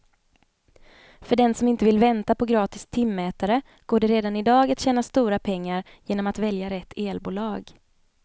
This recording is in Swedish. För den som inte vill vänta på gratis timmätare går det redan i dag att tjäna stora pengar genom att välja rätt elbolag.